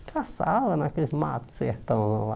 caçava naqueles matos sertão lá.